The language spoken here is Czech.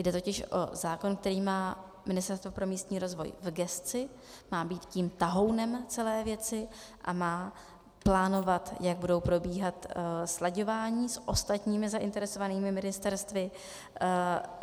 Jde totiž o zákon, který má Ministerstvo pro místní rozvoj v gesci, má být tím tahounem celé věci a má plánovat, jak budou probíhat slaďování s ostatními zainteresovanými ministerstvy.